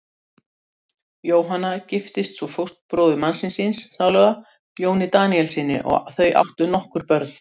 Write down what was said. Jóhanna giftist svo fósturbróður mannsins síns sáluga, Jóni Daníelssyni, og þau áttu nokkur börn.